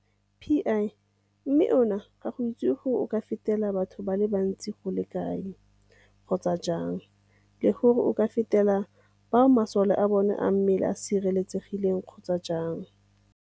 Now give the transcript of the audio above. Pi, mme ona ga go itsiwe gore o ka fetela batho ka bontsi go le kae kgotsa jang le gore o ka fetela le bao masole a bona a mmele a sireletsegileng kgotsa jang.